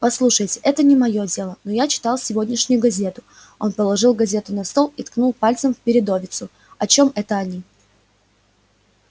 послушайте это не моё дело но я читал сегодняшнюю газету он положил газету на стол и ткнул пальцем в передовицу о чём это они